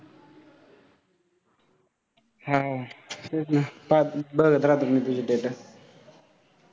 हां तेच ना बघत राहतो तुझे status